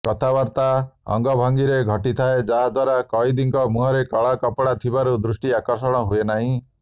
କଥାବାର୍ତ୍ତା ଅଙ୍ଗଭଙ୍ଗୀରେ ଘଟିଥାଏ ଯାହା ଦ୍ୱାରା କଏଦୀଙ୍କ ମୁହଁରେ କଳା ପକଡ଼ା ଥିବାରୁ ଦୃଷ୍ଟି ଆକର୍ଷଣ ନହୁଏ ନାହିଁ